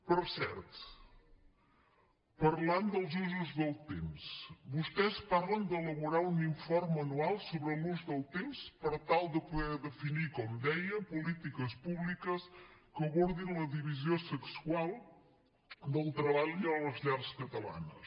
per cert parlant dels usos del temps vostès parlen d’elaborar un informe anual sobre l’ús del temps per tal de poder definir com deia polítiques públiques que abordin la divisió sexual del treball a les llars catalanes